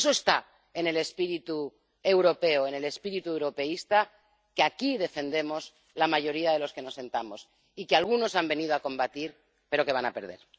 Eso está en el espíritu europeo, en el espíritu europeísta que aquí defendemos la mayoría de los que nos sentamos y que algunos han venido a combatir, pero van a perder.